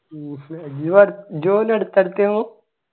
ജ്ജ് ജ്ജ് ഓനും അടുത്തടുത്തെനു